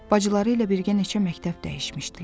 Bacıları ilə birgə neçə məktəb dəyişmişdilər.